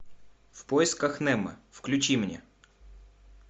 в поисках немо включи мне